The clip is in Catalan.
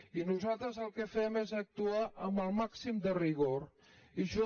i nos·altres el que fem és actuar amb el màxim de rigor i jo